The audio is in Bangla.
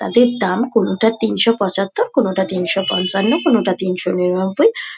তাদের দাম কোনটা তিনশো পঁচাত্তর কোনটা তিনশো পঞ্চান্ন কোনটা তিনশো নিরানব্বই।